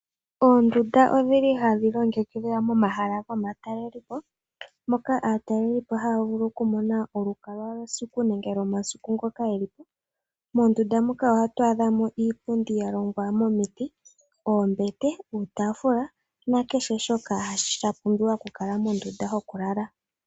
Oondundu odhili hadhi longekidhwa momahala gomatalelepo, moka aatalelipo haya vulu okumona olukwa lwesiku nenge lwomasiku ngoka yelipo. Mondunda muka ohatu adhamo iipundi yalongwa momiti, oombete, uutafula, nakehe shoka sha pumbiwa mondunda yoku lala.